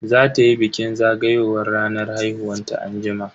Za tayi bikin zagayowar ranar haihuwanta anjima.